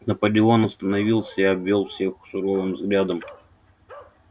наполеон остановился и обвёл всех суровым взглядом